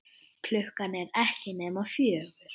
Klukkan er ekki nema fjögur.